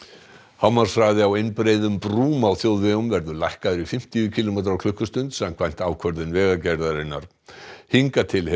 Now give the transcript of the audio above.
hámarkshraði á einbreiðum brúm á þjóðvegum verður lækkaður í fimmtíu kílómetra á klukkustund samkvæmt ákvörðun Vegagerðarinnar hingað til hefur